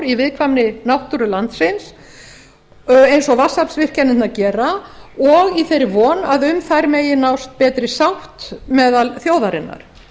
í viðkvæmri náttúru landsins eins og vatnsaflsvirkjanirnar gera og í þeirri von að um þær megi nást betri sátt meðal þjóðarinnar